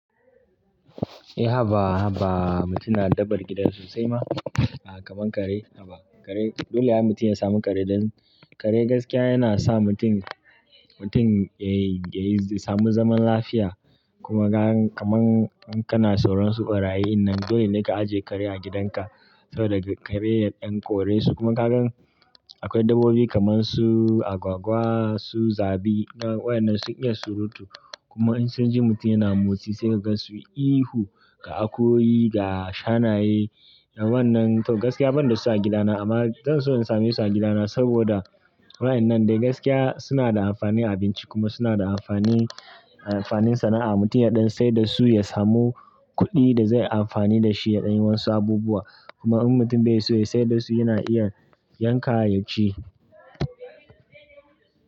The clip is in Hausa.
Eh, haba mutum na daɓar gida sosai ma kamar kare. Haba kare dole ai mutum ya samu kare don kare gaskiya yana sa mutum yayi, yayi samun zaman lafiya kuma kakan kamar kana tsoron su ɓarayyi. Nan dole ne ka ajiye kare a gidanka saboda kare ya ɗan kore su kuma kagan akwai dabbobi kamar su agwagwa, su zabi waɗannan su iya surutu. Kuma in sun ji mutum yana motsi sai ka ga su ihu ga akoyi ga shanayen wannan tau gaskiya ban da su a gidana amma zan so in sami su a gidana saboda waɗannan dai gaskiya suna da amfani a abinci kuma suna da amfani, amfanin sana'a. Mutum ya ɗan sai da su ya samu kuɗi da zai yi amfani da shi ya ɗani wasu abubuwa. Kuma in mutum bai so sai da su yana iya yanka ya ci.